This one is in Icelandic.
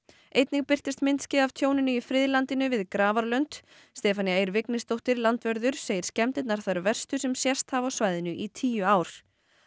einnig birtist myndskeið af tjóninu í friðlandinu við Stefanía Eir Vignisdóttir landvörður segir skemmdirnar þær verstu sem sést hafi á svæðinu í tíu ár